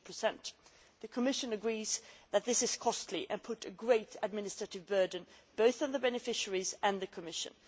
2. The Commission agrees that this is costly and puts a great administrative burden both on the beneficiaries and on the Commission.